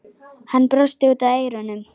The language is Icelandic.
Hann brosti út að eyrum.